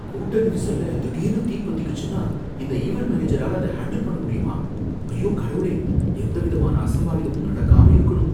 கூட்ட நெரிசல்ல திடீர்னு தீ பத்திக்கிச்சுன்னா இந்த ஈவென்ட் மேனேஜரால அதை ஹேண்டில் பண்ண முடியுமா? ஐயோ, கடவுளே! எந்த விதமான அசம்பாவிதமும் நடக்காம இருக்கணும்.